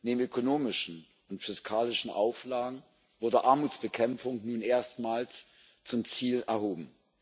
Neben ökonomischen und fiskalischen Auflagen wurde Armutsbekämpfung nun erstmals zum Ziel erhoben.